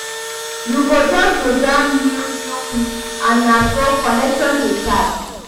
Yu go jus dey jam new new pipo and na so connection dey start